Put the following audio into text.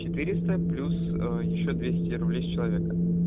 четыреста плюс ещё двести рублей с человека